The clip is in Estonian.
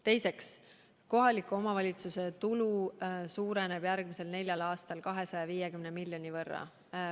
Teiseks, kohaliku omavalitsuse tulu suureneb järgmisel neljal aastal 250 miljoni euro võrra.